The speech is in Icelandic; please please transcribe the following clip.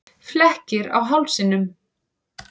Flekkir á hálsinum.